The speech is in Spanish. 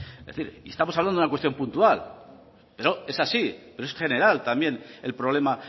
es decir estamos hablando de una cuestión puntual pero es así pero es general también el problema